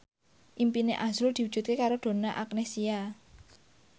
impine azrul diwujudke karo Donna Agnesia